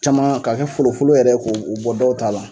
Caman k'a kɛ folofolo yɛrɛ k'o o bɔ dɔw ta la.